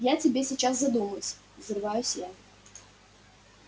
я тебе сейчас задумаюсь взрываюсь я